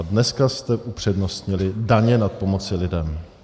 A dneska jste upřednostnili daně nad pomocí lidem.